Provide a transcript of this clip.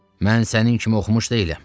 Mən sənin kimi oxumuş deyiləm.